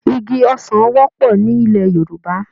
Igi ọsán wọ́pọ̀ nílẹ̀ Yorùbá.